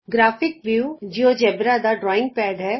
ਗ੍ਰਫਾਕਿ view GeoGebra ਦਾ drawing pad ਹੈ